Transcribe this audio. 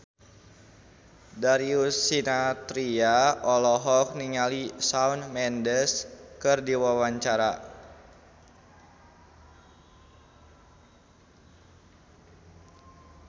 Darius Sinathrya olohok ningali Shawn Mendes keur diwawancara